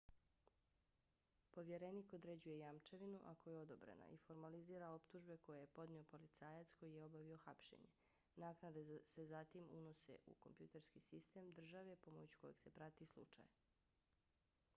povjerenik određuje jamčevinu ako je odobrena i formalizira optužbe koje je podnio policajac koji je obavio hapšenje. naknade se zatim unose u kompjuterski sistem države pomoću kojeg se prati slučaj